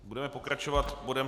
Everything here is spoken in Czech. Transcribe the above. Budeme pokračovat bodem